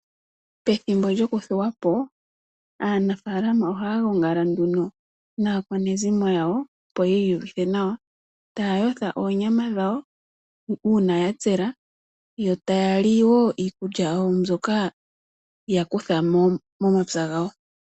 Pethimbo lyoku thuwapo aanafalama oha gongala nduno aakwanezimo yawo opo yiyuvitha nawa tayotha onyama dhawo una yatsela yo tayali wo iikulya yawo mbyoka yakutha momapya ngawo.